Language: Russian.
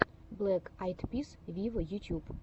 блэк айд пис виво ютьюб